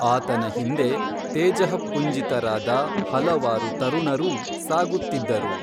ಆತನ ಹಿಂದೆ ತೇಜಃಪುಂಜಿತರಾದ ಹಲವಾರು ತರುಣರೂ ಸಾಗುತ್ತಿದ್ದರು